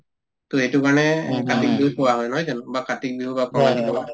to এইটো কাৰণে কাতি বিহু কোৱা হয় নহয় জানো বা কাতিক বিহু বা কঙালী বিহু কোৱা হয়